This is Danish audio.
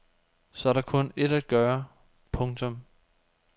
Så er der kun ét at gøre. punktum